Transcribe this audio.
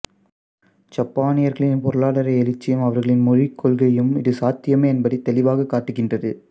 ஜப்பானியர்களின் பொருளாதார எழுச்சியும் அவர்களின் மொழிக் கொள்கையும் இது சாத்தியமே என்பதை தெளிவாக காட்டுகின்றது